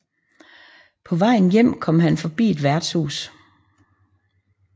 På vejen hjem kom han forbi et værtshus